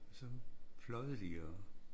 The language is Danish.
Så pløjede de og